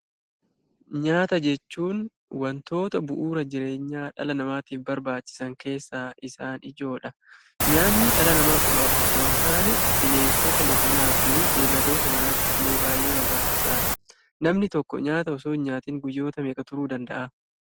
Nyaata jechuun wantoota bu'uura jireenya dhala namaatiif barbaachisan keessaa isaan ijoodha. Nyaanni dhala namaaf qofa osoo hin taane bineensota bosonaa fi beeyladoota manaatiif illee baay'ee barbaachisaadha. Namni tokko nyaata osoo hin nyaatiin guyyoota meeqa turuu danda'a?